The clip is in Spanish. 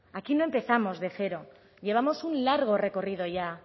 aquí no empezamos de cero llevamos un largo recorrido ya